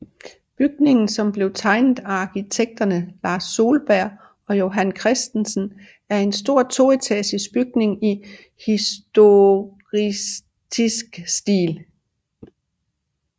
Bygningen som blev tegnet af arkitekterne Lars Solberg og Johan Christensen og er en stor toetagers bygning i historicistisk stil